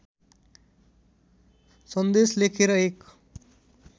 सन्देश लेखेर एक